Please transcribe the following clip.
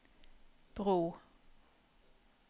bro